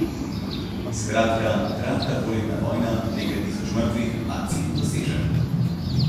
Skratka, kratka dvoletna vojna, nekaj tisoč mrtvih, a cilj dosežen!